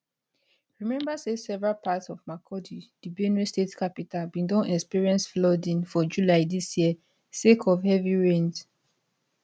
remember say several parts of makurdi di benue state capital bin don experience flooding for july dis year sake of heavy rains